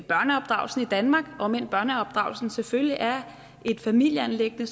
danmark om end børneopdragelsen selvfølgelig er et familieanliggende er